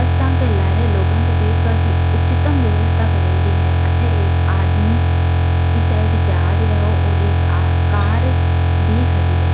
असा के लारे लोगा कें बेठवा की उच्चतम व्यवस्था करेड़ी है अटै एक आदमी की साइड जा रही हो और एक कार भी खड़ी है।